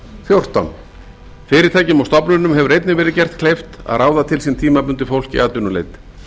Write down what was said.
fjórtán fyrirtækjum og stofnunum hefur einnig verið gert kleift að ráða til sín tímabundið fólk í atvinnuleit